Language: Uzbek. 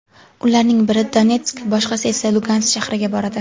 Ularning biri Donetsk, boshqasi esa Lugansk shahriga boradi.